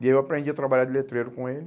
E aí eu aprendi a trabalhar de letreiro com ele.